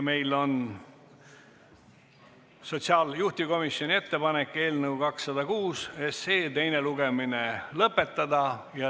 Meil on juhtivkomisjoni ettepanek eelnõu 206 teine lugemine lõpetada.